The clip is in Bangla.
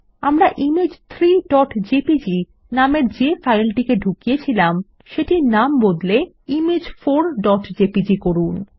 আমরা ইমেজ 3জেপিজি নামের যে ফাইলটিকে ঢুকিয়েছিলাম সেটির নাম বদলে ইমেজ 4জেপিজি করুন